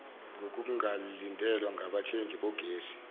nokungalindelwa ngabathengi bogesi